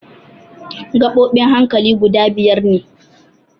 Gaɓoɓin hankali guda biyar ne.